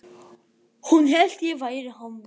Hún hélt ég væri hommi